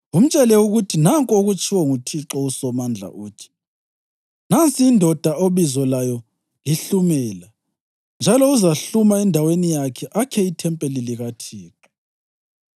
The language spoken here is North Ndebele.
Umtshele ukuthi nanku okutshiwo nguThixo uSomandla, uthi: ‘Nansi indoda obizo layo liHlumela, njalo uzahluma endaweni yakhe akhe ithempeli likaThixo.